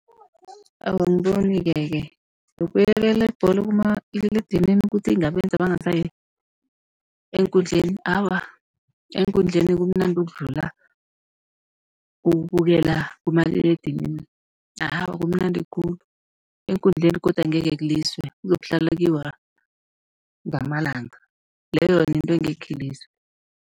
Awa, angibonike-ke yokubukela ibholo kumaliledinini ukuthi ingabenza bangasayi eenkundleni, awa eenkundleni kumnandi ukudlula ukubukela kumaliledinini. Awa, kumnandi khulu eenkundleni godu angekhe kuliswe kuzokuhlala kuyiwa ngamalanga, leyo yona yinto engekhe iliswe.